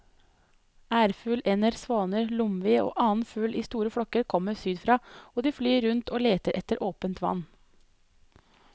Ærfugl, ender, svaner, lomvi og annen fugl i store flokker kommer sydfra og de flyr rundt og leter etter åpent vann.